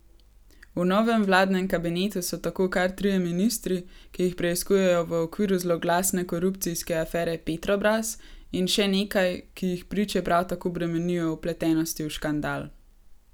V novem vladnem kabinetu so tako kar trije ministri, ki jih preiskujejo v okviru zloglasne korupcijske afere Petrobras, in še nekaj, ki jih priče prav tako bremenijo vpletenosti v škandal.